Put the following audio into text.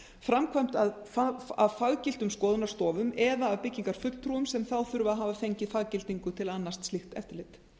framkvæmd úttekta framkvæmt af faggiltum skoðunarstofum eða byggingarfulltrúum sem þá þurfa að hafa fengið faggildingu til að annast slíkt eftirlit